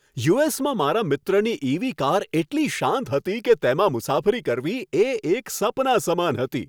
યુ.એસ.માં મારા મિત્રની EV. Car એટલી શાંત હતી કે તેમાં મુસાફરી કરવી એ એક સપના સમાન હતી.